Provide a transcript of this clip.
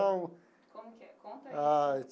Como que é? Conta aí. Ai.